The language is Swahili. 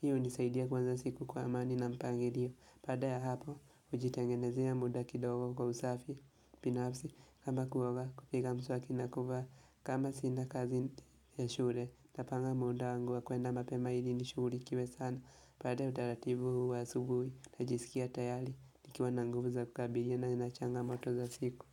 Hiyo hunisaidia kuanza siku kwa amani na mpangilio. Baaada ya hapo hujitengenezea muda kidogo kwa usafi binafsi kama kuoga kupiga mswaki na kuvaa kama sina kazi ya shule napanga muda wa kwenda mapema ilinishughuliwe sana. Baada ya utaratibu huu wa asubuhi, Najisikia tayari Nikiwa na nguvu za kukabiliana na changamoto za siku.